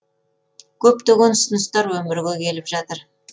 көптеген ұсыныстар өмірге келіп жатыр